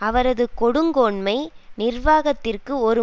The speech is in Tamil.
அவரது கொடுங்கோன்மை நிர்வாகத்திற்கு ஒரு